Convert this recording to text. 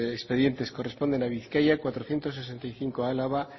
expedientes corresponden a bizkaia cuatrocientos setenta y cinco a álava